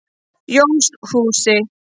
Jónshúsi